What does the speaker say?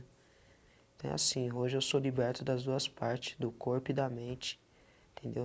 Então é assim, hoje eu sou liberto das duas parte, do corpo e da mente, entendeu?